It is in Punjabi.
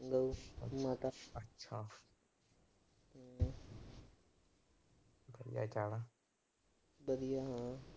ਵਧੀਆ ਈ ਹੋਣਾ।